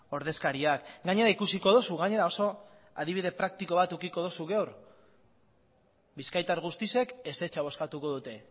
ordezkariak gainera ikusiko duzu gainera oso adibide praktiko bat edukiko duzu gaur bizkaitar guztiek ezetza bozkatuko dute